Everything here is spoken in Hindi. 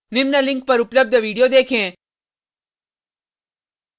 निम्न link पर उपलब्ध video देखें